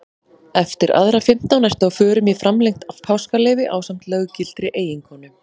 Eftir aðra fimmtán ertu á förum í framlengt páskaleyfi ásamt löggiltri eiginkonu.